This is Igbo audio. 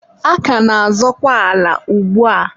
a ka na-azọkwa ala ugbua.